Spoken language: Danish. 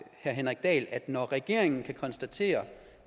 henrik dahl når regeringen kan konstatere